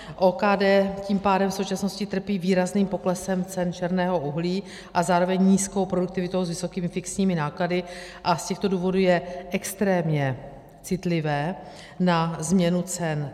OKD tím pádem v současnosti trpí výrazným poklesem cen černého uhlí a zároveň nízkou produktivitou s vysokými fixními náklady a z těchto důvodů je extrémně citlivé na změnu cen.